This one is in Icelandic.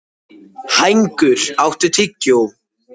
Hængur, áttu tyggjó?